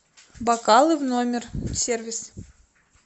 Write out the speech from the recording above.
бокалы в номер сервис